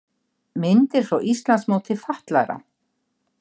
Myndir frá Íslandsmóti fatlaðra